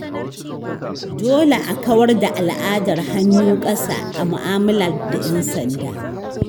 Dole a kawar da al'adar “hannu ƙasa” a mu’amala da ‘yan sanda.